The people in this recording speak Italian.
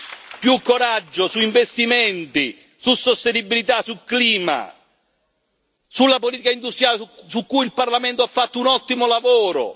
Ci serve più coraggio sugli investimenti, sulla sostenibilità, sul clima, sulla politica industriale, su cui il Parlamento ha fatto un ottimo lavoro.